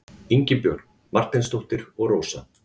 Ingibjörg Marteinsdóttir og Rósa.